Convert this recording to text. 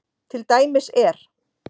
Til dæmis er